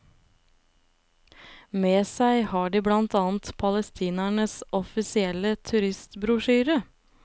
Med seg har de blant annet palestinernes offisielle turistbrosjyre.